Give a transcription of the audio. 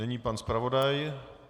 Nyní pan zpravodaj.